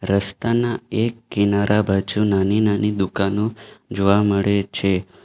રસ્તાના એક કિનારા બાજુ નાની નાની દુકાનો જોવા મળે છે.